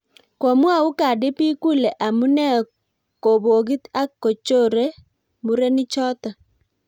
komwou Cardi B kule amunee kobokit ak kochoree murenichoto